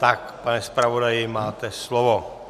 Tak, pane zpravodaji, máte slovo.